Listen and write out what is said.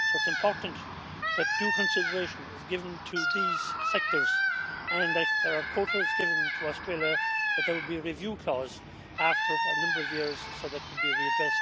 So it is important that due consideration is given to these sectors and, if there are quotas given to Australia, that there will be a review clause after a number of years, so that could be re-addressed